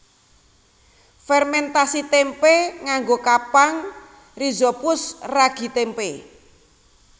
Fèrmèntasi témpé nganggo kapang rhizopus ragi témpé